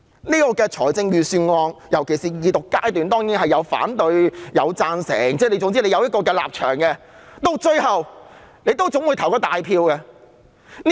在這份預算案的辯論尤其是二讀階段中，當然有反對和贊成的聲音，各有立場，而到最後大家會進行表決。